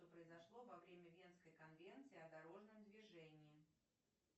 что произошло во время венской конвенции о дорожном движении